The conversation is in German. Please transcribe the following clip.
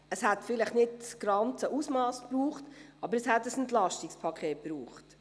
Es hätte vielleicht nicht das ganze Ausmass gebraucht, aber ein EP hätte es gebraucht.